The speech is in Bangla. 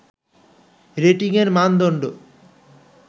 রেটিংয়ের মানদণ্ড